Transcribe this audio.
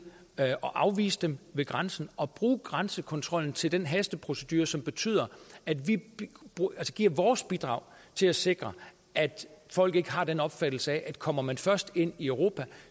at afvise dem ved grænsen og bruge grænsekontrollen til den hasteprocedure som betyder at vi giver vores bidrag til at sikre at folk ikke har den opfattelse at kommer man først ind i europa